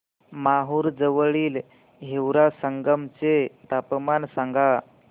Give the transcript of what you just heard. माहूर जवळील हिवरा संगम चे तापमान सांगा